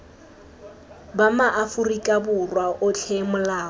ba maaforika borwa otlhe molao